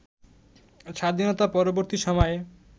স্বাধীনতা পরবর্তী সময়ে